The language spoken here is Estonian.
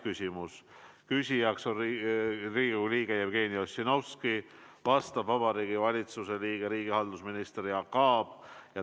Küsijaks on Riigikogu liige Jevgeni Ossinovski ja vastab Vabariigi Valitsuse liige, riigihalduse minister Jaak Aab.